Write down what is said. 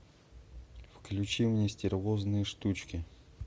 включи мне стервозные штучки